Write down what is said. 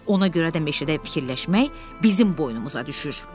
Ona görə də meşədə fikirləşmək bizim boynumuza düşür.